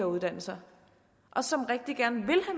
uddannelser og som rigtig gerne